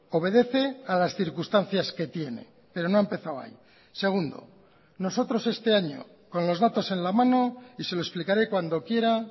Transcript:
obedece a las circunstancias que tiene pero no ha empezado ahí segundo nosotros este año con los datos en la mano y se lo explicaré cuando quiera